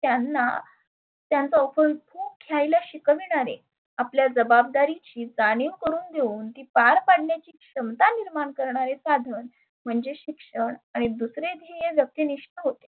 त्यांना त्यांचा अप घ्यायला शिकवीनारे आपल्या जबाबदारी ची जानीव करुण देऊन पार पाडण्याची क्षमता निर्मान करणारे साधन म्हणजे शिक्षण. आणि दुसरे ध्येय व्यक्ती निष्ठ होते.